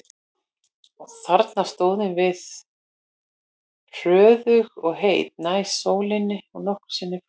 Þarna stóðum við hróðug og heit, nær sólinni en nokkru sinni fyrr.